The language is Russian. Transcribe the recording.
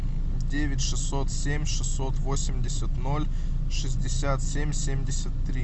девять шестьсот семь шестьсот восемьдесят ноль шестьдесят семь семьдесят три